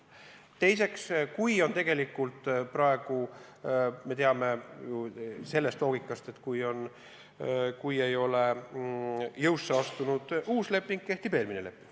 Teiseks, me ju teame loogikat, et kui ei ole jõusse astunud uus leping, siis kehtib eelmine leping.